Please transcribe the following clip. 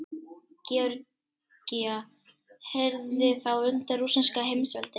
Georgía heyrði þá undir rússneska heimsveldið.